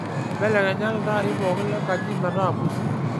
mbelekenya iltaai pooki lenkaji metaa pusi